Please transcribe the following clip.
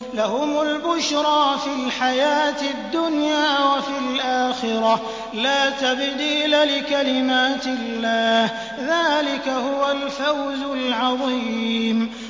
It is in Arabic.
لَهُمُ الْبُشْرَىٰ فِي الْحَيَاةِ الدُّنْيَا وَفِي الْآخِرَةِ ۚ لَا تَبْدِيلَ لِكَلِمَاتِ اللَّهِ ۚ ذَٰلِكَ هُوَ الْفَوْزُ الْعَظِيمُ